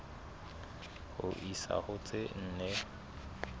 ho isa ho tse nne